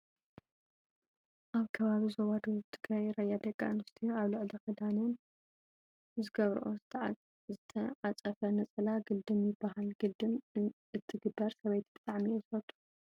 ኣብ ከባቢ ዞባ ደቡብ ትግራይ ራያ ደቂ ኣንስትዮ ኣብ ልዕሊ ክዳነን ዝገብረኦ ዝተዓፀፈ ነፀላ ግልድም ይብሃል። ግልድም እትገብር ሰበይቲ ብጣዕሚ እየ ዝፈትው።